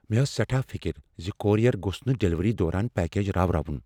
مےٚ ٲس سیٹھاہ فکر زِ کوریر گوٚژھ نہٕ ڈلیوری دوران پیکج راوناون۔